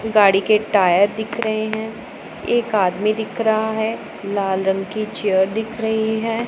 गाड़ी के टायर दिख रहे है एक आदमी दिख रहा है लाल रंग की चेयर दिख रही है।